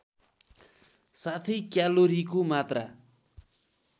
साथै क्यालोरीको मात्रा